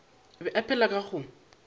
be a phela ka go